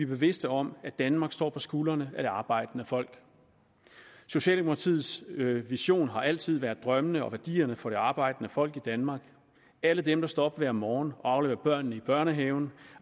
bevidste om at danmark står på skuldrene af det arbejdende folk socialdemokratiets vision har altid været drømmene og værdierne for det arbejdende folk i danmark alle dem der står op hver morgen afleverer børnene i børnehaven